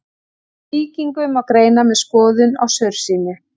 Sýkingu má greina með skoðun á saursýni.